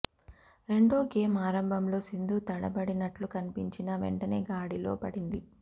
రెండో గేమ్ ఆరంభంలో సింధు తడబడినట్లు కనిపించినా వెంటనే గాడిలో పడింది